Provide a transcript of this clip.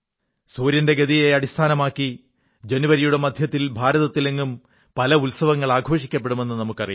സൂര്യന്റെ ഗതിയെ അടിസ്ഥാനമാക്കി ജനുവരിയുടെ മധ്യത്തിൽ ഭാരതത്തിലെങ്ങും പല ഉത്സവങ്ങൾ ആഘോഷിക്കപ്പെടുമെന്നു നമുക്കറിയാം